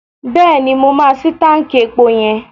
Bẹ́ẹ̀ni, mo máa ṣí táǹkì epo yẹn.